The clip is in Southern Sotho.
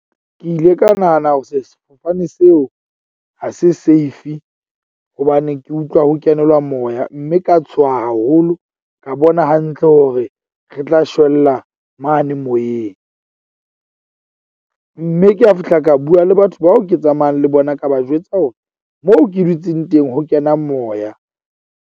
Ke ile ka nahana hore sefofane seo ha se safe hobane ke utlwa ho kenelwa moya. Mme ka tshoha haholo ka bona hantle hore re tla shwella mane moyeng . Mme ke a fihla, ka bua le batho bao ke tsamayang le bona ka ba jwetsa hore moo ke dutseng teng ho kena moya.